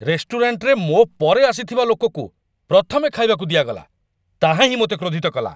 ରେଷ୍ଟୁରାଣ୍ଟରେ ମୋ ପରେ ଆସିଥିବା ଲୋକକୁ ପ୍ରଥମେ ଖାଇବାକୁ ଦିଆଗଲା, ତାହାହିଁ ମୋତେ କ୍ରୋଧିତ କଲା।